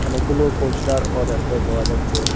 অনেকগুলো পোস্টারও দেখতে পাওয়া যাচ্ছে।